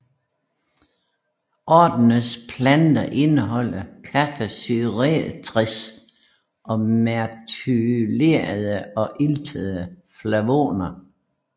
Ordenens planter indeholder kaffesyreestre og methylerede og iltede flavoner